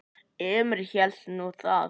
Emil hélt nú það.